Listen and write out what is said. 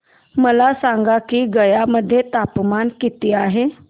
मला सांगा की गया मध्ये तापमान किती आहे